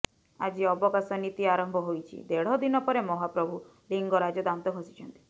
ଆଜି ଅବକାଶ ନୀତି ଆରମ୍ଭ ହୋଇଛି ଦେଢଦିନ ପରେ ମହାପ୍ରଭୁ ଲିଙ୍ଗରାଜ ଦାନ୍ତ ଘଷିଛନ୍ତି